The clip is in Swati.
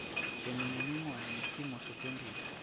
semininingwane ngesimo setemphilo